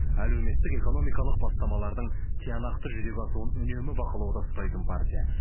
әлеуметтік экономикалық бастамалардың тиянақты жүзеге асуын үнемі бақылауда ұстайтын партия